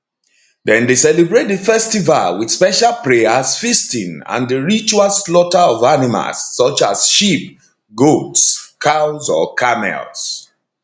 dem dey celebrate di festival wit special prayers feasting and di ritual slaughter of animals such as sheep goats cows or camels